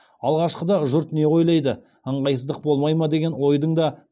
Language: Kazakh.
алғашқыда жұрт не ойлайды ыңғайсыздық болмай ма деген ойдың да қылаң бергені рас